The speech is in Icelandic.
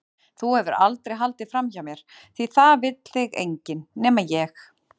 Þú hefur aldrei haldið framhjá mér því það vill þig enginn- nema ég.